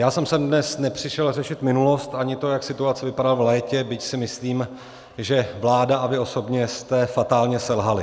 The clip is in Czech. Já jsem sem dnes nepřišel řešit minulost ani to, jak situace vypadala v létě, byť si myslím, že vláda a vy osobně jste fatálně selhali.